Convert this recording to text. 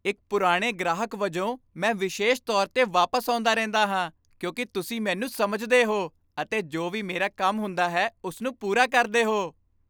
ਇੱਕ ਪੁਰਾਣੇ ਗ੍ਰਾਹਕ ਵਜੋਂ, ਮੈਂ ਵਿਸ਼ੇਸ਼ ਤੌਰ 'ਤੇ ਵਾਪਸ ਆਉਂਦਾ ਰਹਿੰਦਾ ਹਾਂ ਕਿਉਂਕਿ ਤੁਸੀਂ ਮੈਨੂੰ ਸਮਝਦੇ ਹੋ ਅਤੇ ਜੋ ਵੀ ਮੇਰਾ ਕੰਮ ਹੁੰਦਾ ਹੈ ਉਸਨੂੰ ਪੂਰਾ ਕਰਦੇ ਹੋ।